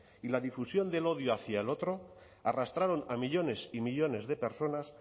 y la difusión del odio hacia el otro arrastraron a millónes y millónes de personas